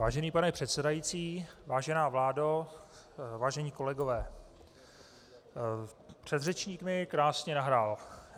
Vážený pane předsedající, vážená vládo, vážení kolegové, předřečník mi krásně nahrál.